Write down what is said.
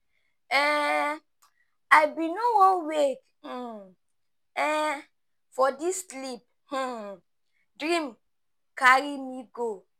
um I bin no wan wake um um for dis sleep, um dream carry me go.